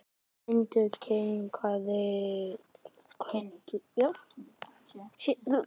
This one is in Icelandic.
Finnur kinkaði kolli til þeirra.